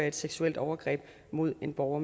et seksuelt overgreb mod en borger